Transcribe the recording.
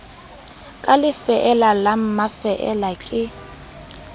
ka lefeela la mafeela ke